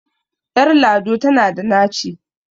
Ƴar lado tana da naci.